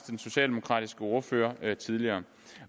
den socialdemokratiske ordfører tidligere